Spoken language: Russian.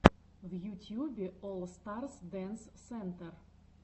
в ютьюбе олл старс дэнс сентер